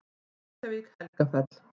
Reykjavík: Helgafell.